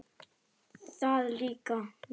Það líkaði